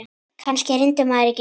Kannski reyndi maður ekki nóg.